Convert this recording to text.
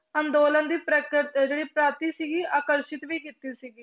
ਅੰਦੋਲਨ ਦੀ ਜਿਹੜੀ ਪ੍ਰਾਪਤੀ ਸੀਗੀ ਆਕਰਸ਼ਿਤ ਵੀ ਕੀਤੀ ਸੀਗੀ।